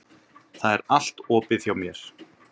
Það er allt opið hjá mér.